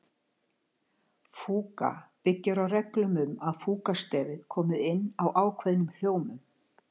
Fúga byggir á reglum um að fúgustefið komi inn á ákveðnum hljómum.